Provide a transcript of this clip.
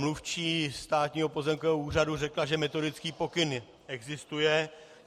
Mluvčí Státního pozemkového úřadu řekla, že metodický pokyn existuje.